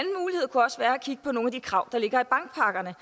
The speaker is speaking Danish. kigge på nogle af de krav der ligger i bankpakkerne